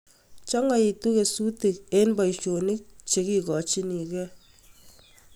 Chongoitu kesutik eng boisionik chekikochinegei